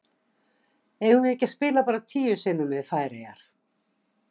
Eigum við ekki að spila bara tíu sinnum við Færeyjar?